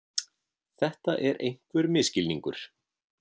Þetta er einhver misskilningur.